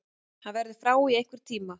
Hann verður frá í einhvern tíma.